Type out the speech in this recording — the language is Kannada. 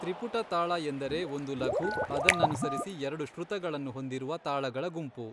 ತ್ರಿಪುಟ ತಾಳ ಎಂದರೆ ಒಂದು ಲಘು, ಅದನ್ನನುಸರಿಸಿ ಎರಡು ಶ್ರುತಗಳನ್ನು ಹೊಂದಿರುವ ತಾಳಗಳ ಗುಂಪು.